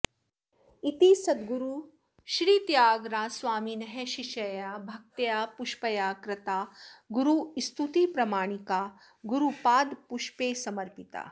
इति सद्गुरुश्रीत्यागराजस्वामिनः शिष्यया भक्तया पुष्पया कृता गुरुस्तुतिप्रमाणिका गुरुपादपुष्पे समर्पिता